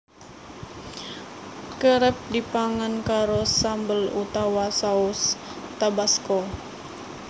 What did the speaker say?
Kerep dipangan karo sambel utawa saus Tabasco